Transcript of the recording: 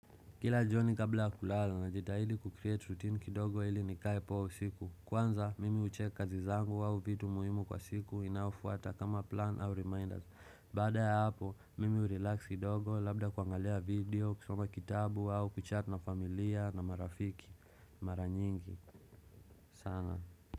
Kila joni kabla kulala na jitahili kucreate routine kidogo ili nikaye poa usiku Kwanza mimi hucheck kazi zangu au vitu muhimu kwa siku inayofuata kama plan au reminders Bada ya hapo mimi urelax kidogo labda kuangalia video, kusoma kitabu wao, kuchat na familia na marafiki, maranyingi, sana.